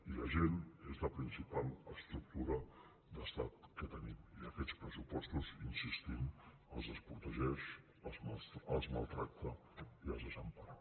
i la gent és la principal estructura d’estat que tenim i aquests pressupostos hi insistim els desprotegeix els maltracta i els desempara